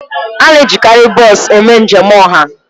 A na-ejikarị bọs eme njem ọha.